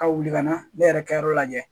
Ka wuli ka na ne yɛrɛ ka yɔrɔ lajɛ